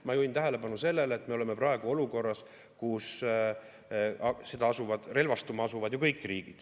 Ma juhin tähelepanu sellele, et me oleme praegu olukorras, kus relvastuma asuvad ju kõik riigid.